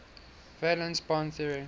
valence bond theory